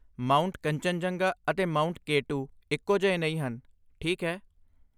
Mount Kanchenjunga ਅਤੇ mount K two ਇੱਕੋ ਜਿਹੇ ਨਹੀਂ ਹਨ, ਠੀਕ ਹੈ?